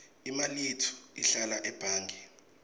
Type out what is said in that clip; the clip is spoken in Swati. imali yetfu ihlala ebhange